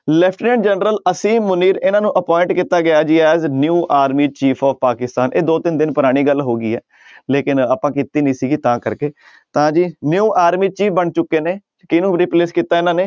lieutenant general Asim Munir ਇਹਨਾਂ ਨੂੰ appoint ਕੀਤਾ ਗਿਆ ਜੀ as new army chief of Pakistan ਇਹ ਦੋ ਤਿੰਨ ਦਿਨ ਪੁਰਾਣੀ ਗੱਲ ਹੋ ਗਈ ਹੈ ਲੇਕਿੰਨ ਆਪਾਂ ਕੀਤੀ ਨੀ ਸੀਗੀ ਤਾਂ ਕਰਕੇ ਤਾਂ ਜੀ new army chief ਬਣ ਚੁੱਕੇ ਨੇ ਕਿਹਨੂੰ replace ਕੀਤਾ ਇਹਨਾਂ ਨੇ